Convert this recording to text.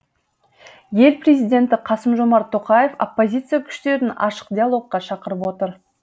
ел президенті қасым жомарт тоқаев оппозиция күштерін ашық диалогқа шақырып отыр